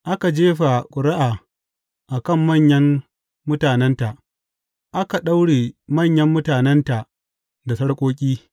Aka jefa ƙuri’a a kan manyan mutanenta, aka daure manyan mutanenta da sarƙoƙi.